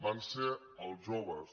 van ser els joves